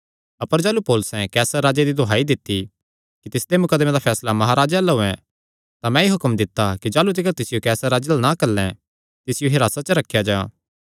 अपर जाह़लू पौलुसैं कैसरे राजे दी दुहाई दित्ती कि तिसदे मुकदमे दा फैसला महाराजे अल्ल होयैं तां मैंई हुक्म दित्ता कि जाह़लू तिकर तिसियो कैसर राजे अल्ल ना घल्लैं तिसियो हिरासत च रखेया जां